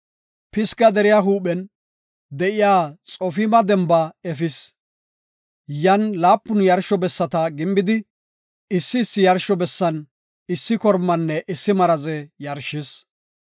Pisga deriya huuphen de7iya Xofima demba efis. Yan laapun yarsho bessata gimbidi, issi issi yarsho bessan issi kormanne issi maraze yarshis.